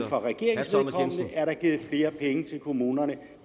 fra regeringen er der givet flere penge til kommunerne